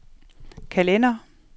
kalender